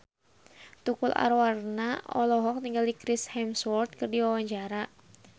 Tukul Arwana olohok ningali Chris Hemsworth keur diwawancara